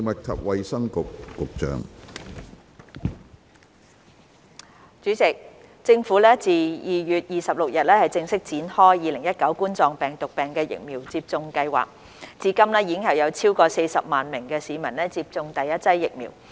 主席，政府自2月26日正式展開2019冠狀病毒病疫苗接種計劃，至今已有超過40萬名市民接種第一劑疫苗。